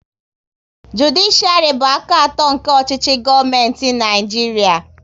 Judishiari bụ aka atọ nke ọchịchị gọọmenti Naijiria